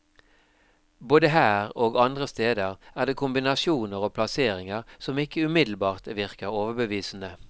Både her og andre steder er det kombinasjoner og plasseringer som ikke umiddelbart virker overbevisende.